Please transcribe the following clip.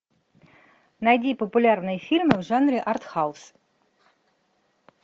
найди популярные фильмы в жанре артхаус